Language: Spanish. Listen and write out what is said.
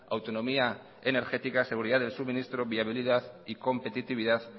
autonomía energética seguridad del suministro viabilidad y competitividad